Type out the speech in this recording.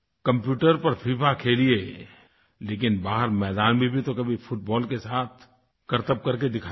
computer पर FIFA खेलिये लेकिन बाहर मैदान में भी तो कभी फुटबॉल के साथ करतब करके दिखाइये